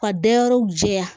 Ka da yɔrɔw jɛya